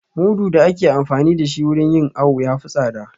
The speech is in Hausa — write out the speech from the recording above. Mudu da ake amfani da shi wurin yin awo ya fi tsada